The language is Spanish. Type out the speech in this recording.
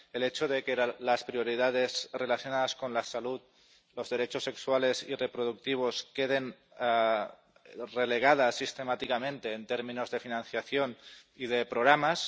el hecho de que las prioridades relacionadas con la salud y los derechos sexuales y reproductivos queden relegadas sistemáticamente en términos de financiación y de programas